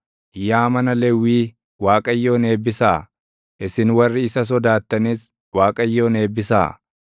yaa mana Lewwii Waaqayyoon eebbisaa; isin warri isa sodaattanis, Waaqayyoon eebbisaa.